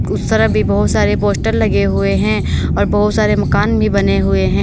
उस तरफ भी बहुत सारे पोस्टर लगे हुए हैं और बहुत सारे मकान भी बने हुए हैं।